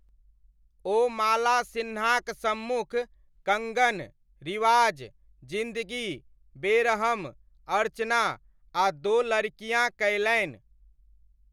ओ माला सिन्हाक सम्मुख 'कङ्गन', 'रिवाज', 'जिन्दगी', 'बेरहम', 'अर्चना' आ 'दो लड़कियाँ' कयलनि।